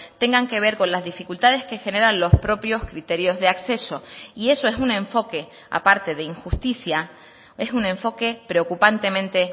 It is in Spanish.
tengan que ver con las dificultades que generan los propios criterios de acceso y eso es un enfoque aparte de injusticia es un enfoque preocupantemente